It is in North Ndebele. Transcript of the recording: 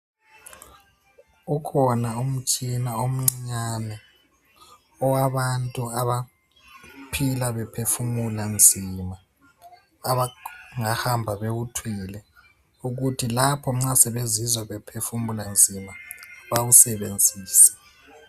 Ukhona umtshina omncinyane owabantu abaphila baphefumula nzima, abangahamba bewuthwele ukuthi lapho nxa sebezizwa bephefumula nzima bawusebenzise.